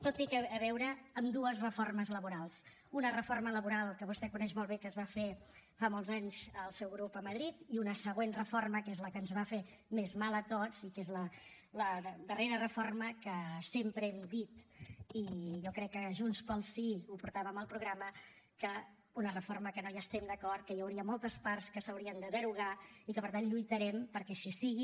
tot té a veure amb dues reformes laborals una reforma laboral que vostè coneix molt bé que va fer fa molts anys el seu grup a madrid i una següent reforma que és la que ens va fer més mal a tots i que és la darrera reforma que sempre hem dit i jo crec que junts pel sí ho portàvem al programa que és una reforma que no hi estem d’acord que hi hauria moltes parts que s’haurien de derogar i que per tant lluitarem perquè així sigui